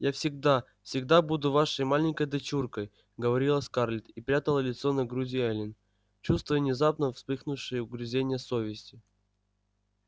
я всегда всегда буду вашей маленькой дочуркой говорила скарлетт и прятала лицо на груди эллин чувствуя внезапно вспыхнувшие угрызения совести